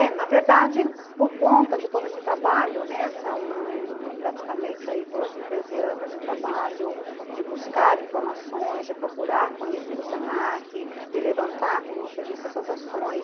É, na verdade, por conta de todo esse trabalho, né, são praticamente doze, treze anos de trabalho de buscar informações, de procurar conhecer o se na que, de levantar, como você disse, essas ações.